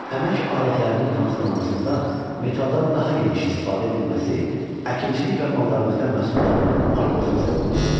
Əmək alətlərinin hazırlanmasında metaldan daha geniş istifadə edilməsi əkinçilik və maldarlıqda məhsuldarlığın artmasına səbəb oldu.